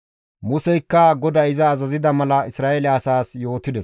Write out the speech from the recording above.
Museykka GODAY iza azazida mala Isra7eele asaas yootides.